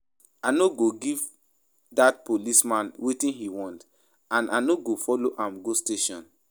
I no go give dat policeman wetin he want and I no go follow am go station